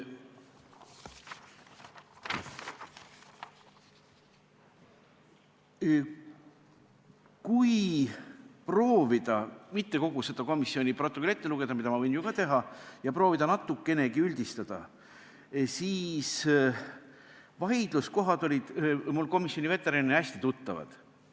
Kui mitte kogu seda komisjoni protokolli ette lugeda – mida ma võin ju ka teha – ja proovida natukenegi üldistada, siis vaidluskohad olid mulle komisjoni veteranina hästi tuttavad.